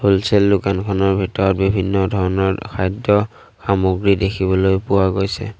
Wholesale দোকানখনৰ ভিতৰত বিভিন্ন ধৰণৰ খাদ্য সামগ্ৰী দেখিবলৈ পোৱা গৈছে।